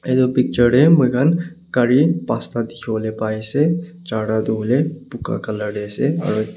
Etu picture tey moi khan gare pas ta dekhe pai ase jarta tu hoile puka colour de ase aro ekta--